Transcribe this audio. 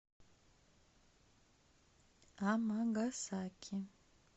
амагасаки